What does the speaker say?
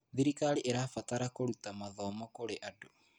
Thirikari ĩrabatara kũruta mathomo kũrĩ andũ.